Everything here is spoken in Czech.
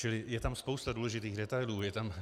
Čili je tam spousta důležitých detailů.